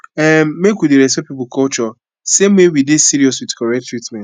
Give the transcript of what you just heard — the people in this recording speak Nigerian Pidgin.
um make we dey respect people culture same way we dey serious with correct treatment